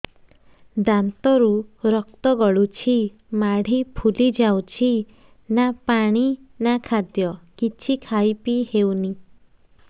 ଦାନ୍ତ ରୁ ରକ୍ତ ଗଳୁଛି ମାଢି ଫୁଲି ଯାଉଛି ନା ପାଣି ନା ଖାଦ୍ୟ କିଛି ଖାଇ ପିଇ ହେଉନି